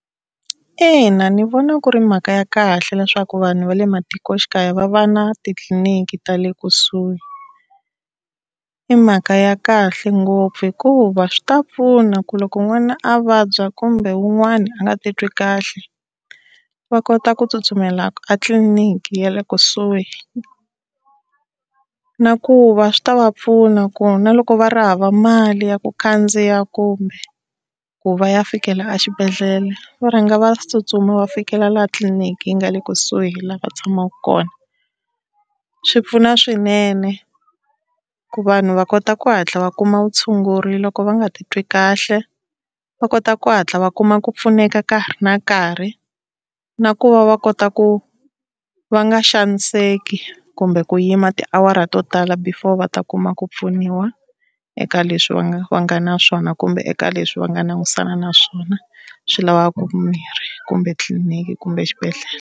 Ina ni vona ku ri mhaka ya kahle leswaku vanhu va le matikoxikaya va va na titliliniki ta le kusuhi. I mhaka ya kahle ngopfu hikuva swi ta pfuna ku loko n'wana a vabya kumbe wun'wana a nga ti twi kahle va kota ku tsutsumela a tliliniki ya le kusuhi, nakuva swi ta va pfuna ku na loko va ri hava mali ya ku khandziya kumbe ku va ya fikela exibedhlele va rhanga va tsutsuma va fikela laha tliliniki yi nga le kusuhi laha va tshamaka kona. Swi pfuna swinene ku vanhu va kota ku hatla va kuma vutshunguri loko va nga titwi kahle, va kota ku hatla va kuma ku pfuneka ka ha ri na nkarhi. Na ku va va kota ku va nga xaniseki kumbe ku yima tiawara to tala before va ta kuma ku pfuniwa eka leswi va nga va nga na swona kumbe eka leswi va nga langutisana na swona, swi lavaka mimirhi kumbe etliliniki kumbe exibedhlele.